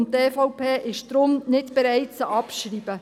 Die EVP ist deshalb nicht bereit, sie abzuschreiben.